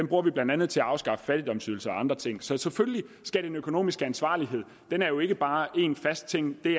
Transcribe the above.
bruger vi blandt andet til at afskaffe fattigdomsydelser og andre ting så selvfølgelig er den økonomiske ansvarlighed jo ikke bare én fast ting det